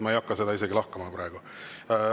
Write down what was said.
Ma ei hakka seda isegi lahkama praegu.